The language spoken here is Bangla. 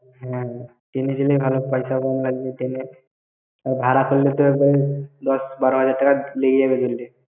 হ্যাঁ। train এ গেলে ভালো, পয়সাও কম লাগবে train এ । আবার ভাড়া করলে পরে তো দশ বারো হাজার টাকা লেগে যাবে ঘুরলে।